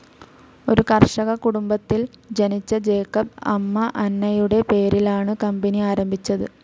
ഒരു കർഷക കുടുംബത്തിൽ ജനിച്ച ജേക്കബ് അമ്മ അന്നയുടെ പേരിലാണ് കമ്പനി ആരംഭിച്ചത്.